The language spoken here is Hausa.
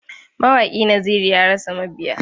Mawaƙi Naziru ya rasa mabiya.